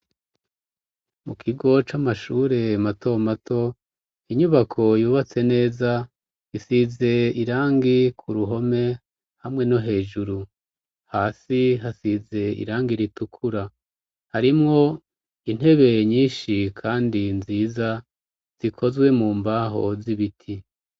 Mukigo c'amashure matomato, inyubako yubatse neza isize irangi k'uruhome hamwe no hejuru, hasi hasize irangi ritukura harimwo intebe nyinshi kandi nziza zikozwe mumbaho z'ibiti.